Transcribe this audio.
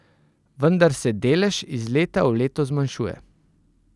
Vendar se delež iz leta v leto zmanjšuje.